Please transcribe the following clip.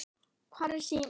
Hvar var síminn?